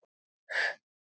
Og að krókna úr kulda.